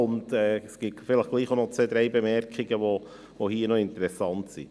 Zudem gibt es hier doch auch noch zwei, drei interessante Bemerkungen.